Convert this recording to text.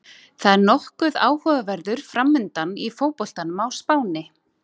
Það er nokkuð áhugaverður framundan í fótboltanum á Spáni.